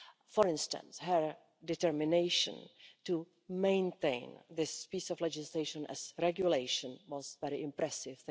For instance, her determination to maintain this piece of legislation as a regulation was very impressive.